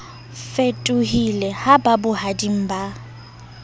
fetohile ha ba bohading ba